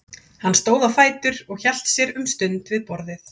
Hann stóð á fætur og hélt sér um stund við borðið.